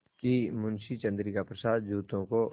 कि मुंशी चंद्रिका प्रसाद जूतों को